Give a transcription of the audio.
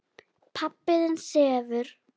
Pabbi þinn sefur.